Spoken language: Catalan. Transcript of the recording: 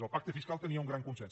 el pacte fiscal tenia un gran consens